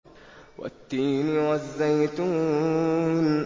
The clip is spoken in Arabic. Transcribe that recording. وَالتِّينِ وَالزَّيْتُونِ